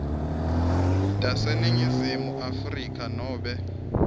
taseningizimu afrika nobe